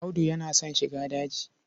Audu yana son shiga daji.